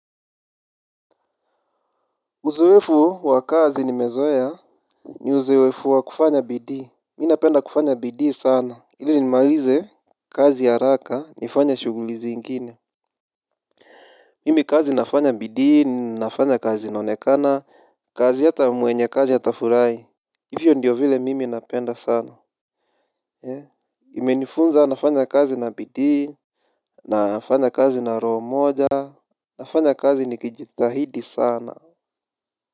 Uzoevu wa kazi nimezoea. Ni uzoevu wa kufanya bidii. Mi napenda kufanya bidii sana ili nimalize kazi haraka nifanye shughuli zingine. Mimi kazi nafanya bidii nafanya kazi inaonekana. Kazi hata mwenye kazi atafurahi. Hivyo ndiyo vile mimi napenda sana He imenifunza nafanya kazi na bidii nafanya kazi na roho moja. Nafanya kazi nikijitahidi sana.